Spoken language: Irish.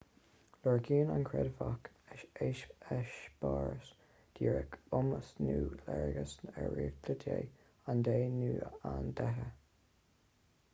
lorgaíonn an creidmheach eispéireas díreach iomas nó léargas ar réaltacht dé/an dé nó na ndéithe